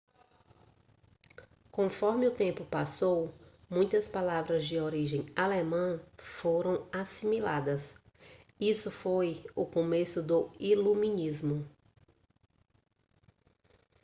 conforme o tempo passou muitas palavras de origem alemã foram assimiladas isso foi o começo do iluminismo